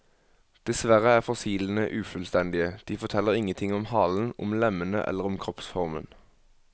Dessverre er fossilene ufullstendige, de forteller ingenting om halen, om lemmene eller om kroppsformen.